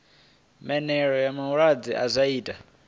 mela ha malelebvudzi zwa ita